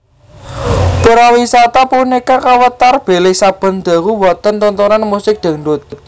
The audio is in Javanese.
Purawisata punika kawéntar bilih saben dalu wonten tontonan musik dangdut